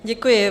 Děkuji.